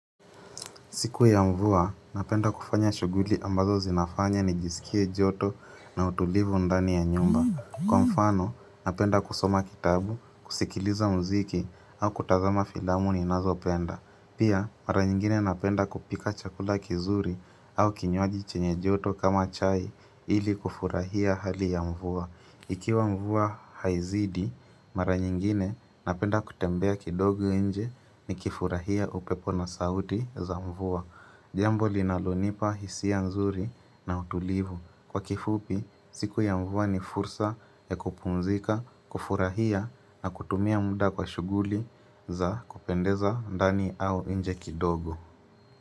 Siku ya mvua, napenda kufanya shuguli ambazo zinafanya ni jisikie joto na utulivu ndani ya nyumba. Kwa mfano, napenda kusoma kitabu, kusikiliza mziki au kutazama filamuni nazo penda. Pia, mara nyingine napenda kupika chakula kizuri au kinywaji chenye joto kama chai ili kufurahia hali ya mvua. Ikiwa mvua haizidi, mara nyingine napenda kutembea kidogo inje ni kifurahia upepona sauti za mvua. Jambo linalonipa hisia nzuri na utulivu. Kwa kifupi, siku ya mvua ni fursa ya kupumzika, kufurahia na kutumia muda kwa shuguli za kupendeza ndani au inje kidogo.